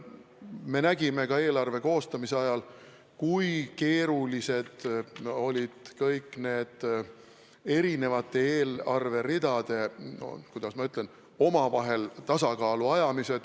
Me nägime ka eelarve koostamise ajal, kui keeruline oli eri eelarveridade, kuidas ma ütlen, omavahel tasakaalu ajamine.